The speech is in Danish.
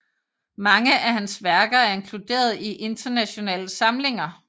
Mange af hans værker er inkluderet i internationale samlinger